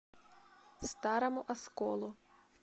старому осколу